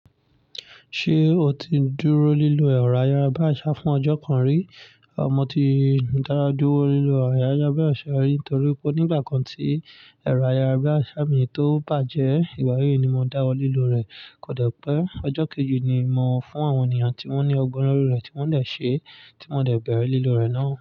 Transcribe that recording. Ṣé o ti dúró lílo ẹ̀rọ ayárabíàṣá fún ọjọ́ kan rí? Mo ti dáwo dúró lílo ẹ̀rọ ayárabíàṣá nitorí pé nígbà kan tí ẹ̀rọ ayárabíàṣá mi tó bàjẹ́, ìgbà yí ni mo dáwọ́ lílo rẹ̀ kóde pé ọjọ́ kejì ni mò fún àwọn ènìyàn tí wón ní ọgbọ́n nínú rẹ̀ tí wón dè ṣe tí mo dẹ̀ bẹ̀rẹ̀ lílo rẹ̀ náà.